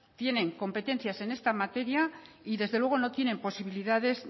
tienen competencias en esta materia y desde luego no tienen posibilidades